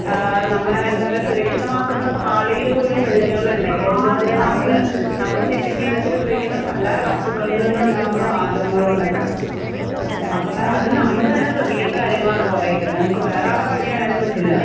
ആഹ് നമ്മളെ എന്താ പറയാ സുരക്ഷിതമാക്കുന്ന പാളിയില് പോലും വിള്ളല്കള് ഉണ്ടായി. എന്തുകൊണ്ടാ? നമ്മള് നമ്മളെ നിത്യ ജീവിതത്തില് ഉപയോഗിക്കുന്ന പല വസ്തുക്കളിൽ നിന്നും ഉണ്ടാവുന്ന വാദകങ്ങളോണ്ടൊക്കെ. അപ്പൊ അത് നമ്മള് തന്നെ ശ്രദ്ധിക്കേണ്ട കാര്യങ്ങളാണ് കുറെയൊക്കെ. വേറാളെ പഴി ചാരൻ പറ്റില്ല.